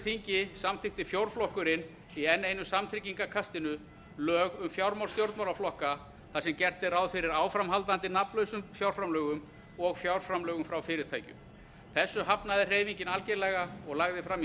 þingi samþykkti fjórflokkurinn í enn einu samtryggingarkastinu lög um fjármál stjórnmálaflokka þar sem gert er ráð fyrir áframhaldandi nafnlausum fjárframlögum og fjárframlögum frá fyrirtækjum þessu hafnaði hreyfingin algerlega og lagði fram í